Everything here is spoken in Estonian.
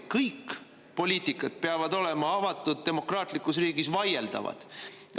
Kõik poliitikad peavad avatud demokraatlikus riigis olema vaieldavad.